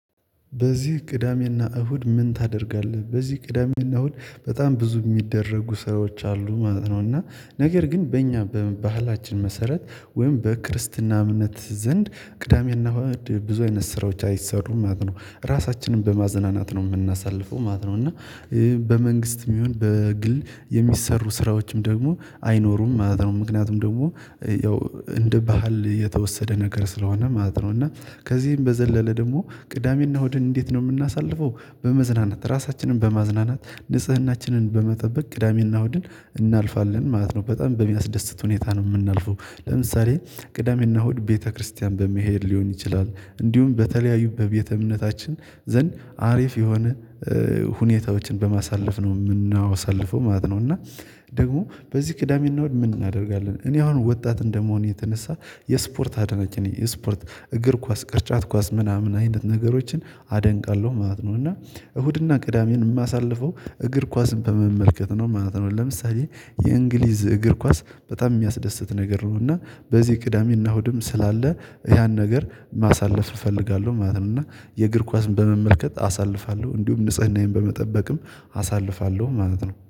በዚህ ቅዳሜና እሁድ ምን ታደርጋለህ? በዚህ ቅዳሜና እሁድ በጣም ብዙ የሚደረጉ ሰራዎች አሉ ማለት ነው። እና ነገር ግን በእኛ በባህላችን መሰረት ወይም በክርስትና እምነት ዘንድ ቅዳሜና ብዙ አይነት ስራዎች አይሰሩም ማለት ነው ራሳችንን በማዘናናት ነው የምናሳልፈው ማለት ነው። እና በመንግስትም ይሁን በግል የሚሰሩ ስራዎችም ደግሞ አይኖሩም ማለት ነው። ምክንያቱም ደግሞ ያው እንደ ባህል የተወሰደ ነገር ስለሆነ ማለት ነው። እና ከዚህም በዘለለ ደግሞ ቅዳሜና እሁድን እንዴት ነው የምናሳልፈው? በመዝናናት ራሳችንን በማዝናናት ንጽህናችንን በመጠበቅ ቅዳሜና እሁድን እናልፋለን ማለት ነው። በጣም በሚያስደስት ሁኔታ ነው የምናልፈው። ለምሳሌ ቅዳሜና እሁድ ቤተክርስቲያን በመሄድ ሊሆን ይችላል እንዲሁም በተለያዩ በቤተ እምነታችን ዘንድ አሪፍ የሆነ ሁኔታዎችን በማሳለፍ ነው የምናወሳልፈው ማለት ነው። እና ደግሞ በዚህ ቅዳሜ እና እሁድ ምን እናደርጋለን? እኔ አሁን ወጣት እንደመሆን የተነሳ የስፖርት አድናቂ ነኝ የስፖርት እግር ኳስ ቅርጫት ኳስ ምናምን አይነት ነገሮችን አደንቃለሁ ማለት ነው። እና እሁድና ቅዳሜን የማሳልፈው እግር ኳስን በመመልከት ነው ማለት ነው። ለምሳሌ የእንግሊዝ እግር ኳስ በጣም የሚያስደስት ነገር ነው። እና በዚህ ቅዳሜና እሁድም ስላለ ያን ነገር ማሳለፍ እፈልጋለሁ ማለት ነው። እና የእግር ኳስን በመመልከት አሳልፋለሁ እንዲሁም ንጽህናዬን በመጠበቅም አሳልፋለሁ ማለት ነው